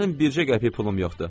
Mənim bircə qəpik pulum yoxdur.